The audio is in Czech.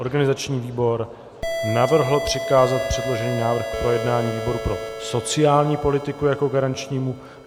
Organizační výbor navrhl přikázat předložený návrh k projednání výboru pro sociální politiku jako garančnímu.